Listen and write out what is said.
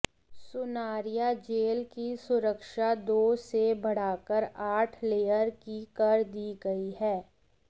Sunaria jail की सुरक्षा दो से बढ़ाकर आठ लेयर की कर दी गई है